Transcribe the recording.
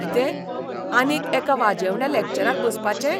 कितें, आनीक एका वाजेवण्या लॅक्चराक बसपाचें?